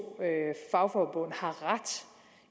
fagforbund